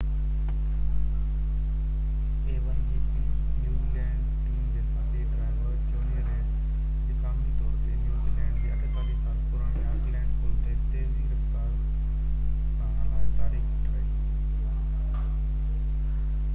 a1gp New Zealand team جي ساٿي driver Jonny Reid اڄ قانوني طور تي نيوزي لينڊ جي 48 سال پراڻي آڪلينڊ پل تي تيزي رفتار سان هلائي تاريخ ٺاهي